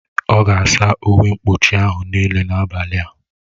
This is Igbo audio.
Ọ ga-asa uwe mkpuchi ahụ niile n'abalị a